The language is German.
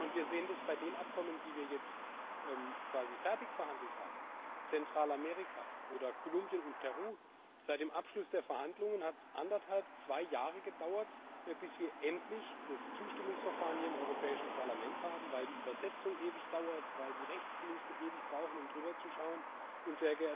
Wir sehen das bei den Abkommen, die wir jetzt quasi fertig verhandelt haben Zentralamerika oder Kolumbien und Peru. Seit dem Abschluss der Verhandlungen hat es eineinhalb bis zwei Jahre gedauert, bis wir endlich das Zustimmungsverfahren hier im Europäischen Parlament hatten, weil die Übersetzung ewig dauert, weil die Rechtsdienste ewig brauchen, um zu prüfen.